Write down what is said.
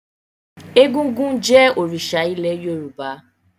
Egúngún jẹ́ òrìṣà ilẹ̀ Yorùbá.